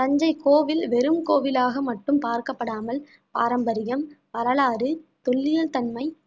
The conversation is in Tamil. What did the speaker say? தஞ்சை கோவில் வெறும் கோவிலாக மட்டும் பார்க்கப்படாமல் பாரம்பரியம், வரலாறு, தொல்லியல் தன்மை